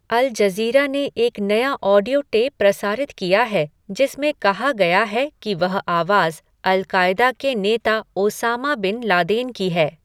Al Jazeera ने एक नया ऑडियो टेप प्रसारित किया है जिसमें कहा गया है कि वह आवाज अल कायदा के नेता ओसामा बिन लादेन की है।